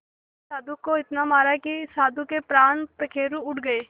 उसने साधु को इतना मारा कि साधु के प्राण पखेरु उड़ गए